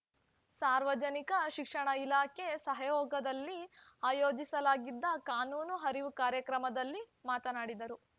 ಸಾರ್ವಜನಿಕ ಶಿಕ್ಷಣ ಇಲಾಖೆ ಸಹಯೋಗದಲ್ಲಿ ಆಯೋಜಿಸಲಾಗಿದ್ದ ಕಾನೂನು ಅರಿವು ಕಾರ್ಯಕ್ರಮದಲ್ಲಿ ಮಾತನಾಡಿದರು